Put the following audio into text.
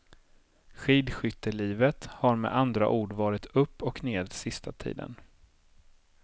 Skidskyttelivet har med andra ord varit upp och ned sista tiden.